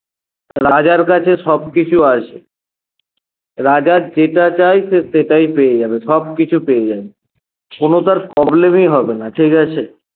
রাজার কাছে সবকিছু আছে রাজা যেটা চায় সে সেটাই পেয়ে যাবে সবকিছু পেয়ে যাবে কোনো তার problem ই হবে না ঠিকাছে